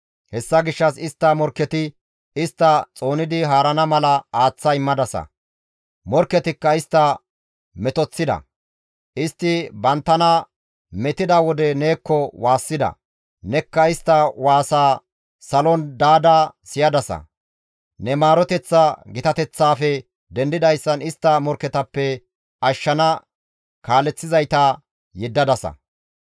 Hessa gishshas istta morkketi istta xoonidi haarana mala aaththa immadasa; morkketikka istta metoththida; istti banttana metida wode neekko waassida; nekka istta waasaa salon daada siyadasa; ne maaroteththa gitateththaafe dendidayssan istta morkketappe ashshana kaaleththizayta yeddadasa.